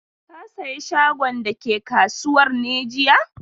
Ka saye shagon da ke kasuwar ne jiya?